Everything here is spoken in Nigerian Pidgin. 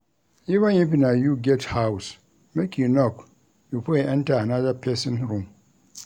Even if na you get house, make you knock before you enta anoda pesin room.